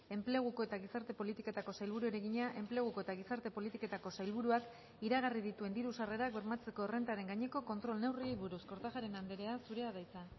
enpleguko eta gizarte politiketako sailburuari egina enpleguko eta gizarte politiketako sailburuak iragarri dituen diru sarrerak bermatzeko errentaren gaineko kontrol neurriei buruz kortajarena andrea zurea da hitza